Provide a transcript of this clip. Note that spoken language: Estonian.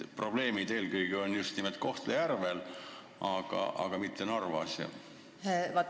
Miks probleemid on eelkõige just nimelt Kohtla-Järvel, aga mitte Narvas?